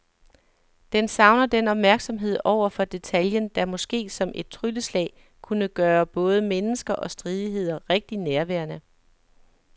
Den savner den opmærksomhed over for detaljen, der måske som et trylleslag kunne gøre både mennesker og stridigheder rigtig nærværende.